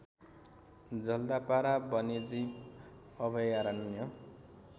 जल्दापारा वन्यजीव अभयारण्य